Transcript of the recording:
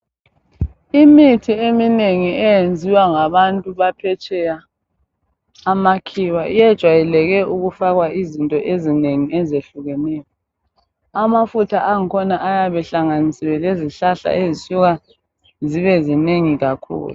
Imithi eminengi eyenziwa ngabantu baphetsheya amakhiwa iyejwayeleke ukufakwa izinto ezinengi ezehlukeneyo. Amafutha angkhona ayabe ehlanganisiwe lezihlahla ezisuka zibe zinengi kakhulu.